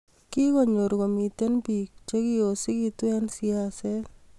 kigonyor komiten biik chegiosigitu eng siaset